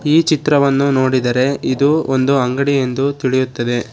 ಈ ಚಿತ್ರವನ್ನು ನೋಡಿದರೆ ಇದು ಒಂದು ಅಂಗಡಿಯೆಂದು ತಿಳಿಯುತ್ತದೆ.